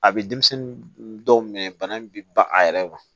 A bɛ denmisɛnnin dɔw minɛ bana in bi ban a yɛrɛ ma